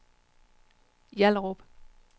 Hjallerup